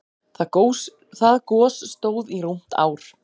Það gos stóð í rúmt ár.